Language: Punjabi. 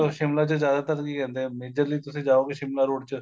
ਸ਼ਿਮਲਾ ਚ ਜਿਆਦਾਤਰ ਕੀ ਕਹਿੰਦੇ ਏ majorly ਤੁਸੀਂ ਜਾਉਗੇ ਸ਼ਿਮਲਾ road ਚ